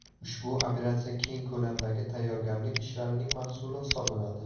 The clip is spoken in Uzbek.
Ushbu operatsiya keng ko‘lamdagi tayyorgarlik ishlarining mahsuli hisoblanadi.